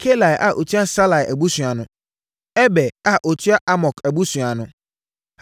Kalai a ɔtua Salai abusua ano. Eber a ɔtua Amok abusua ano.